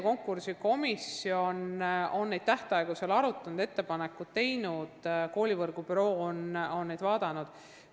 Konkursikomisjon on neid tähtaegu arutanud ja teinud ettepanekud ning koolivõrgu büroo on need üle vaadanud.